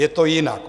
Je to jinak.